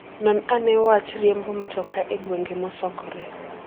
Non ane wach riembo mtoka e gwenge mosokore.